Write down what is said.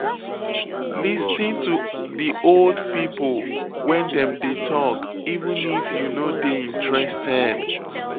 Lis ten to di old pipo when dem dey talk even if you no dey interested